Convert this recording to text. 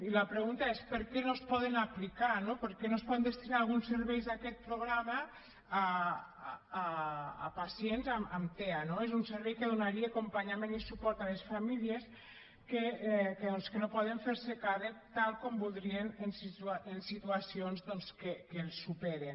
i la pregunta és per què no es poden aplicar no per què no es poden destinar alguns serveis d’aquest programa a pacients amb tea no és un servei que donaria acompanyament i suport a les famílies doncs que no poden fer se càrrec tal com voldríem en situacions que els superen